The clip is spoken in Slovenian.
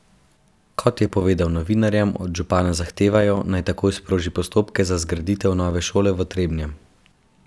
Kot je povedal novinarjem, od župana zahtevajo, naj takoj sproži postopke za zgraditev nove šole v Trebnjem.